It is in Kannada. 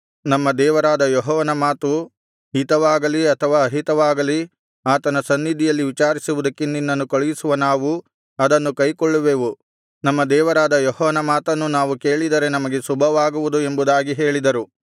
ನಮ್ಮ ದೇವರಾದ ಯೆಹೋವನ ಮಾತು ಹಿತವಾಗಲಿ ಅಥವಾ ಅಹಿತವಾಗಲಿ ಆತನ ಸನ್ನಿಧಿಯಲ್ಲಿ ವಿಚಾರಿಸುವುದಕ್ಕೆ ನಿನ್ನನ್ನು ಕಳುಹಿಸುವ ನಾವು ಅದನ್ನು ಕೈಕೊಳ್ಳುವೆವು ನಮ್ಮ ದೇವರಾದ ಯೆಹೋವನ ಮಾತನ್ನು ನಾವು ಕೇಳಿದರೆ ನಮಗೆ ಶುಭವಾಗುವುದು ಎಂಬುದಾಗಿ ಹೇಳಿದರು